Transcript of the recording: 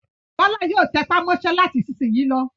Bọ́lá yóò tẹpá mọ́ṣẹ́ láti ìsìnyín lọ.